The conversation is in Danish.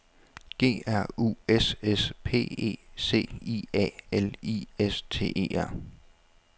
G R U S S P E C I A L I S T E R